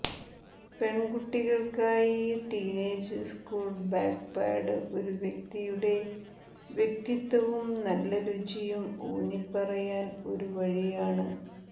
പെൺകുട്ടികൾക്കായി teenage school backpack ഒരു വ്യക്തിയുടെ വ്യക്തിത്വവും നല്ല രുചിയും ഊന്നിപ്പറയാൻ ഒരു വഴിയാണ്